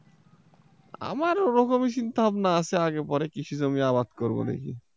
আমার ওরকমই চিন্তা ভাবনা আছে আগে পরে কিছু জমি আবাদ করবো দেখি।